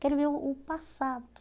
Quero ver o o passado.